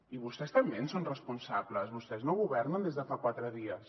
i vostès també en són responsables vostès no governen des de fa quatre dies